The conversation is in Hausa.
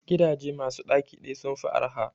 Gidaje masu ɗaki ɗaya sun fi arha